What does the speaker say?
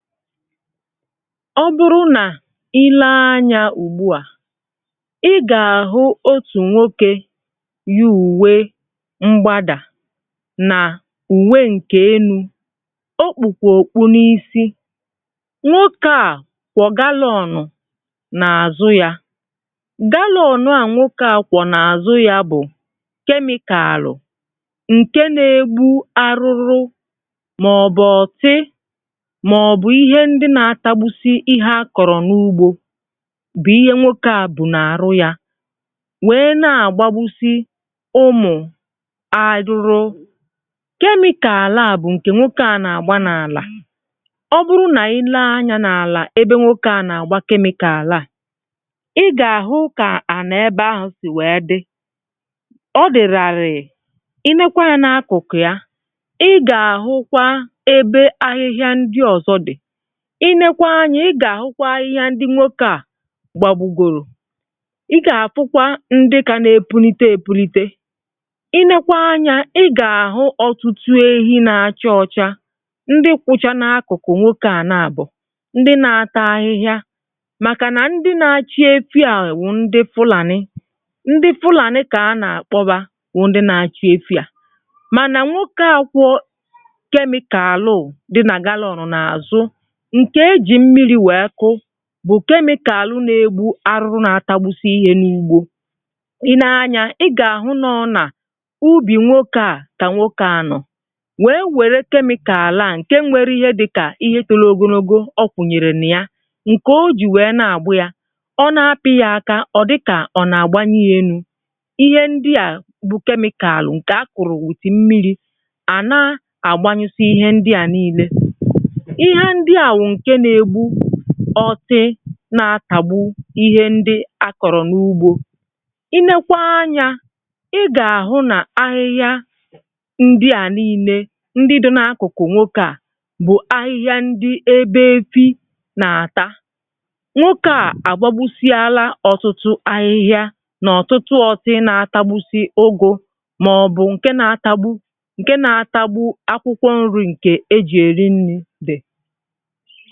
Ọ bụrụ nà i lee anyȧ ùgbuà, ị gà-àhụ otù nwoke yi uwe mgbadà nà ùwe ǹkè elu, o kpù kwa ọkpụ n’isi. Nwokė à kwo galụọnụ n’àzụ yȧ. Galụọnụ a nwokė à kwo n’àzụ yȧ bụ kemikalụ ǹke na-egbu arụrụ, ma obu ọtị, ma ọbụ ihe ndị na-atagbusi ihe àkọrọ n’ugbȯ bụ ihe nwokė a bụ na-àrụ ya, nwèe na-àgbagbusi ụmụ arụrụ. Kemikalụ a bụ ǹkè nwokė a na-àgba n’àlà. Ọ bụrụ nà i lee anyȧ n’àlà ebe nwokė a n’àgba kemịkàlu a, ị gà-àhụ kà àni ebe ahụ sì wèe dị. Ọ dị ràrịị. I leekwaa anyȧ na-akụkụ ya, ị gà-àhụkwa ebe ahịhịa ndị ọzọ dị. I nekwa anyȧ ị gà-àhụkwa ahịhịa ndị nwoke à gbàgbugòrò. I gà-àfụkwa ndị kà na-epulite èpulite. I nekwa anyȧ ị gà-àhụ ọtụtụ ehi na-achọ ọcha ndị kwụcha n’akụkụ nwokė à na-àbọ, ndị na-ata ahịhịa màkà nà ndị na-achịe efi wụ ndị fụlàni. Ndị fụlàni kà a nà-àkpọ yà bu ndị na-achịe efi à, mànà nwokė à kwọ kemikalụ di nà galụọnụ n’àzụ nke e ji mmiri wee kụụ bụ kemikalụ na-egbu arụrụ na-atagbusi ihė n’ugbo. I nee anya ị ga-ahụ nọ na ubi nwoke a ka nwokė anọ, wee were kemikalụ a nke nwere ihe dịka ihe tologologo ọ kwụnyèrè na ya, nke o ji wee na-agba ya. Ọ na-apị yà aka, ọ dịkà ọ na-agbanyi ya elu. Ìhè ndị à bụ kemikalụ nke a kụrụ wetì mmiri, à na-agbanyusi ihe ndị à niile. Ìhè ndịà bu nke na-egbu ọti nà-atàgbu ihe ndi àkọrọ n’ugbȯ. I nekwa anyȧ, ị gà-àhụ nà ahịhịa ndị à niinė ndị dị̇ n’akụkụ nwokė à bụ ahịhịa ndi ebe efi nà-àtà. Nwokė à àgbagbusi ala ọtụtụ ahịhịa nà ọtụtụ ọtị na-atagbusi ugu mà ọbụ ǹke na-atagbu ǹke na-atagbu akwụkwọ nri ǹkè eji èri nni di.